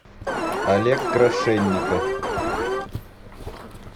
олег крашенников